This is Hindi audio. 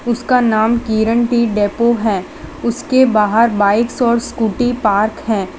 उसका नाम किरण टी डेपो है उसके बाहर बाइक्स और स्कूटी पार्क है।